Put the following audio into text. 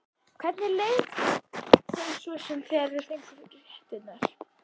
Hvernig leið þeim svo þegar þeir fengu fréttirnar?